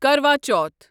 کروا چوتھ